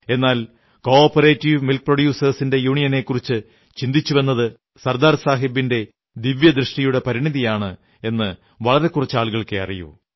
എന്നാൽ cooperative milk പ്രൊഡ്യൂസേഴ്സിന്റെ യൂണിയനെക്കുറിച്ചു ചിന്തിച്ചുവെന്നത് സർദാർ സാഹബിന്റെ ദിവ്യദൃഷ്ടിയുടെ പരിണതിയാണെന്ന് വളരെ കുറച്ചാളുകൾക്കേ അറിയൂ